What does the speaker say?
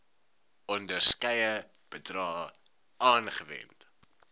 onderskeie bedrae aangewend